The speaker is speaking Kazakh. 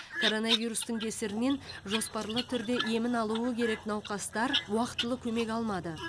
коронавирустың кесірінен жоспарлы түрде емін алуы керек науқастар уақытылы көмек алмады